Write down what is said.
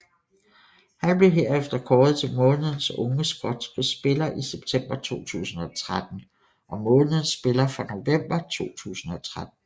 Han blev herefter kåret til månedens unge skotske spiller i september 2013 og månedens spiller for november 2013